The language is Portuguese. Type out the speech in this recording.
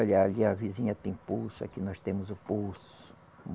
Ali, ali a vizinha tem poço, aqui nós temos o poço.